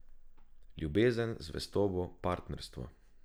Ljubezen, zvestobo, partnerstvo.